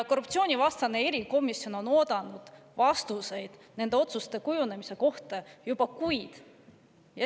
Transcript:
Korruptsioonivastane erikomisjon on oodanud vastuseid nende otsuste kujunemise kohta juba kuid.